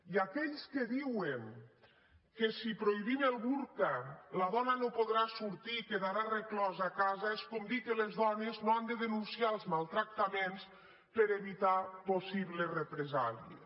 i aquells que diuen que si prohibim el burca la dona no podrà sortir i quedarà reclosa a casa és com dir que les dones no han de denunciar els maltractaments per evitar possibles represàlies